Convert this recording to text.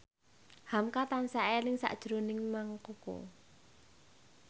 hamka tansah eling sakjroning Mang Koko